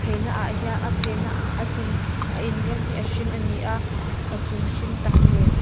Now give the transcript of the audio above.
ei naah hian a in rawng hi a hring ani a a chung hring tak nen.